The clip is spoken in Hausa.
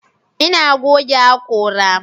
ina goge hakora.